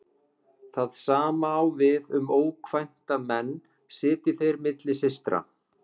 Það sama á við um ókvænta menn sitji þeir milli systra.